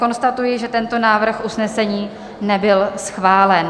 Konstatuji, že tento návrh usnesení nebyl schválen.